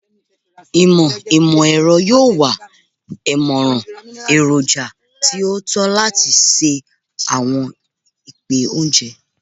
Imọ imọ-ẹrọ yoo wa imọran eroja ti o tọ lati ṣe awọn ipẹ ounjẹ